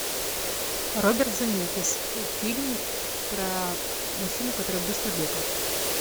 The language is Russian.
роберт земекис фильм про мужчину который быстро бегал